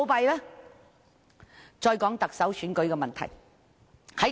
回到特首選舉的問題。